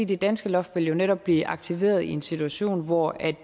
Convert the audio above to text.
det danske loft jo netop vil blive aktiveret i en situation hvor